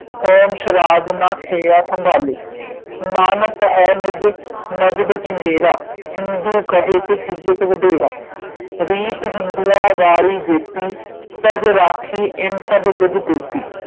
home ਸ਼ਰਾਧ ਨ ਖਯਾਹ ਸੰਭਾਲੇ ਮਾਨਤ ਹੈ ਨਿਜ ਮਜ਼ਬ ਚੰਗੇਰਾ ਹਿੰਦੂ ਕਹੇ ਤੇ ਖਿਝਤ ਵਧੇਰਾ ਰੀਤਿ ਹਿੰਦੂਆਂ ਵਾਰੀ ਜੇਤੀ ਤਜ ਰਾਖੀ ਇਨ ਸਭ ਬਿਧ ਤੇਤੀ